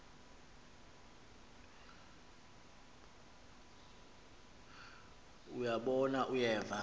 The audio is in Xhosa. uya bona uyeva